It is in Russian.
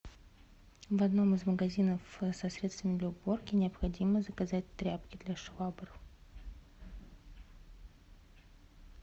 в одном из магазинов со средствами для уборки необходимо заказать тряпки для швабр